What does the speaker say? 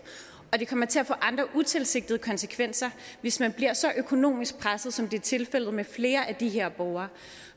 og det kommer til at få andre utilsigtede konsekvenser hvis man bliver så økonomisk presset som det er tilfældet med flere af de her borgere